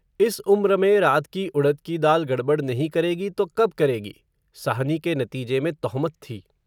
इस उम्र में, रात की उड़द की दाल, गड़बड़ नहीं करेगी, तो कब करेगी, साहनी के नतीजे में तोहमत थी